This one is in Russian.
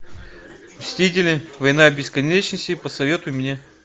мстители война бесконечности посоветуй мне